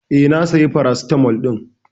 Eh, na saya paracetamol ɗin.